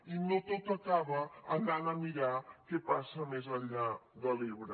i no tot acaba anant a mirar què passa més enllà de l’ebre